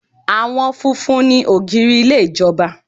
Àwọn funfun ni ògiri ilé ìjọba.